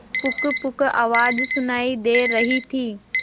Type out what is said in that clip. पुकपुक आवाज सुनाई दे रही थी